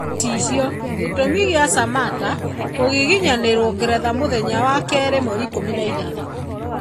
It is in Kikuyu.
(Gĩcicio) Gĩtũmi kĩa Samatta kũgiginyanĩrwo Ngeretha mũthenya wa keerĩ 16.